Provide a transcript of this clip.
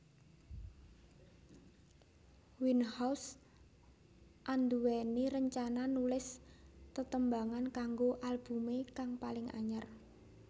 Winehouse anduwèni rencana nulis tetembangan kanggo albumé kang paling anyar